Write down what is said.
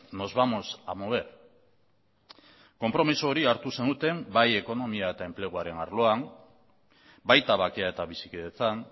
nos vamos a mover konpromiso hori hartu zenuten bai ekonomia eta enpleguaren arloan baita bakea eta bizikidetzan